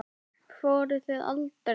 Fóruð þið aldrei?